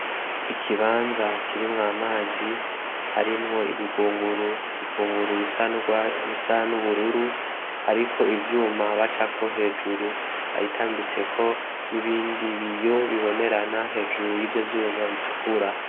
Ikibanza kirimwo amazi harimwo ibigunguru bisa n’ubururu hariko ivyuma bacako hejuru, ayitambitseko n’ibindi biyo bibonerana hejuru y’ivyo vyuma bitukura.